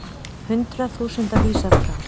Hundruð þúsunda vísað frá